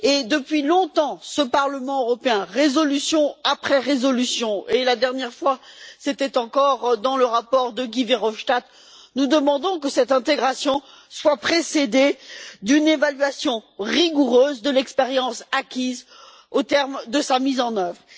Depuis longtemps, ce Parlement européen, résolution après résolution, et la dernière fois encore, dans le rapport de Guy Verhofstadt, demande que cette intégration soit précédée d'une évaluation rigoureuse de l'expérience acquise au terme de sa mise en œuvre.